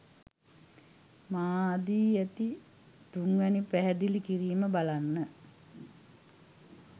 මා දී ඇති තුන්වැනි පැහැදිලි කිරීම බලන්න.